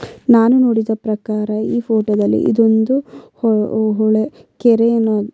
ನಾನು ನೋಡಿದ ಪ್ರಕಾರ ಈ ಫೋಟೋ ದಲ್ಲಿ ಇದೊಂದು ಹೊಳೆ ಕೆರೇನು --